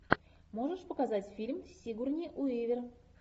можешь показать фильм с сигурни уивер